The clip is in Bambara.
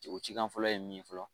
Je o cikan fɔlɔ ye min ye fɔlɔ